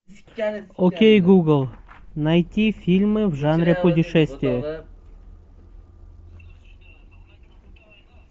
окей гугл найти фильмы в жанре путешествие